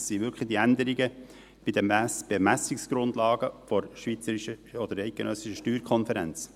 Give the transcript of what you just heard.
Es sind wirklich die Änderungen bei den Ermessungsgrundlagen der eidgenössischen SSK.